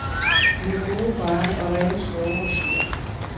I har gode veje og rene skove og søer.